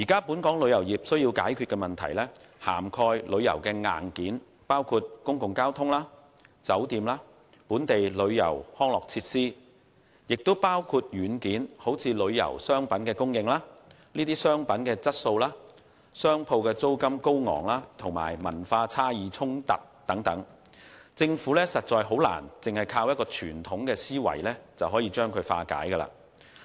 本港旅遊業需要解決的問題，涵蓋旅遊硬件，包括公共交通、酒店、本地旅遊及康樂設施等；也包括軟件，例如旅遊商品供應、商品質素、高昂商鋪租金，以及文化差異衝突等，政府難以單靠傳統思維化解。